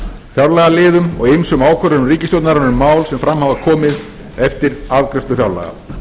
fjárlagaliðum og ýmsum ákvörðunum ríkisstjórnarinnar um mál sem fram hafa komið eftir afgreiðslu fjárlaga